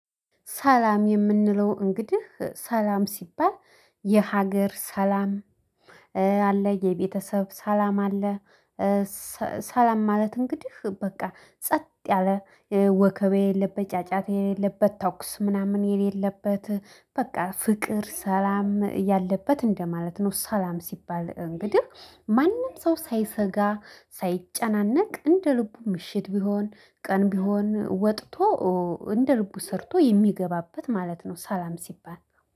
ሰላም የምንለው እንግዲህ ሰላም ሲባል የሀገር ሰላም አለ የቤተሰብ ሰላም አለ። ሰላም ማለት እንግዲህ በቃ ጸጥ ያለ ወከቤ የለበት ጫጫታ የሌለበት ተኩስ ምናምን የሌለበት። በቃ ፍቅር ሰላም ያለበት እንደማለት ነው። ሰላም ሲባል እንግዲህ ማንም ሰው ሳይሰጋ ሳይጨናነቅ እንደ ልቡ ምሽት ቢሆን ቀን ቢሆን ወጥቶ እንደ ልቡ ሰርቶ የሚገባበት ማለት ነው። ሰላም ሲባል